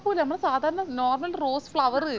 മ്മളെ സാധരണ normal rose flower